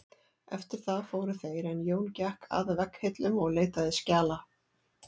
Eftir það fóru þeir en Jón gekk að vegghillum og leitaði skjala.